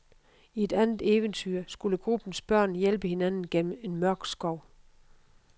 I et andet eventyr skulle gruppens børn hjælpe hinanden gennem en mørk skov.